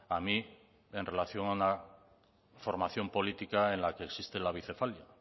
a mí en relación a una formación política en la que existe la bicefalia